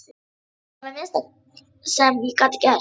Þetta var það minnsta sem ég gat gert